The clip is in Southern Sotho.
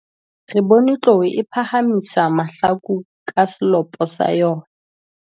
re bone tlou e phahamisa mahlaku ka selopo sa yona